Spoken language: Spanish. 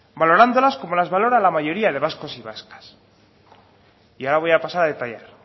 valorándolas como las valora la mayoría de vascos y vascas y ahora voy a pasar a detallar